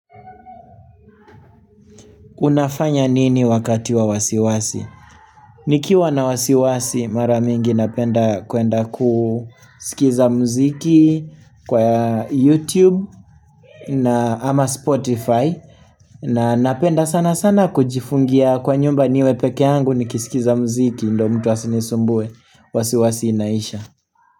Unafanya nini wakati wa wasiwasi? Nikiwa na wasiwasi mara mingi napenda kuenda kusikiza mziki kwa ya YouTube na ama Spotify na napenda sana sana kujifungia kwa nyumba niwe pekee yangu nikisikiza mziki ndiyo mtu asinisumbue wasiwasi inaisha.